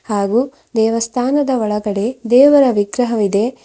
ಹಾಗೂ ದೇವಸ್ಥಾನದ ಒಳಗಡೆ ದೇವರ ವಿಗ್ರಹವಿದೆ.